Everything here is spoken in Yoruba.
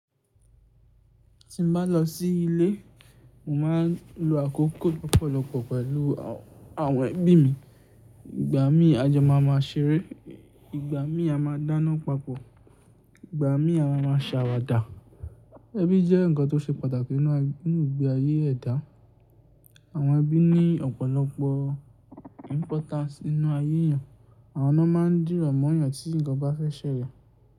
Ti n ba lọ sí ilé, mo maa n lo àkókò lọ́pọ̀lọpọ̀ pẹ̀lú àwọn ẹbí mi. Ìgbà mí a jo ma maa ṣeré, ìgbà mi a ma dáná papọ̀, ìgbà mi a ma maa se àwàdà. Ẹbí jẹ́ ǹnkan tó ṣe pàtàkì nínú igbe ayé ẹ̀dá. Àwọn ẹbí ní ọ̀pọ̀lọpọ̀ importance nínú ayé eèyàn. Àwọn ni won maa ń dìrọ̀ mọ́ èeyàn tí ǹkan ba fẹ́ ṣẹlẹ̀.